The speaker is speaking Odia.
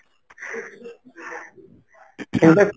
ing